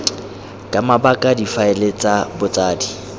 ka mabaka difaele tsa botsadi